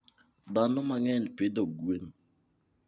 Dhano mang'eny pidho gwen.